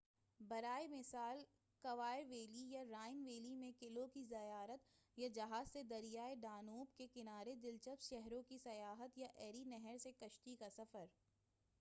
برائے مثال Loire valley یا رائن ویلی میں قلعوں کی زیارت یا جہاز سے دریائے ڈانوب کے کنارے دلچسپ شہروں کی سیاحت یا ایری نہر سے کشتی کا سفر